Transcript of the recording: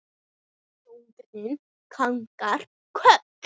Grjóni kinkar kolli.